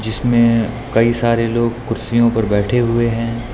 इसमें कई सारे लोग कुर्सियों पर बैठे हुए हैं।